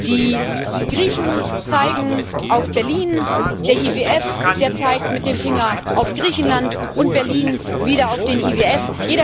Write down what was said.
Die Griechen zeigen auf Berlin, der IWF zeigt mit dem Finger auf Griechenland und Berlin wieder auf den IWF.